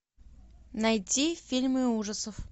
найти фильмы ужасов